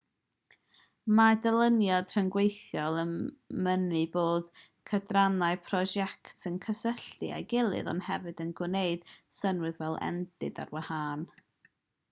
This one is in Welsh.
mae dyluniad rhyngweithiol yn mynnu bod cydrannau prosiect yn cysylltu â'i gilydd ond hefyd yn gwneud synnwyr fel endid ar wahân